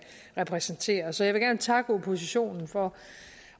repræsentere så jeg vil gerne takke oppositionen for